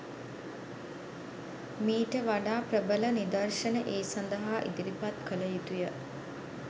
මීට වඩා ප්‍රබල නිදර්ශන ඒ සදහා ඉදිරිපත් කළ යුතුය.